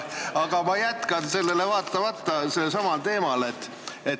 Aga ma jätkan sellele vaatamata samal teemal.